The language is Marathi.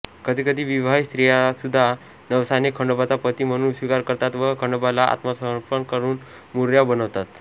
कधीकधी विवाहित स्त्रियासुद्धा नवसाने खंडोबाचा पती म्हणून स्वीकार करतात व खंडोबाला आत्मसमर्पण करून मुरळ्या बनतात